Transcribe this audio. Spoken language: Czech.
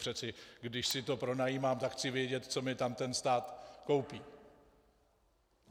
Přeci když si to pronajímám, tak chci vědět, co mi tam ten stát koupí.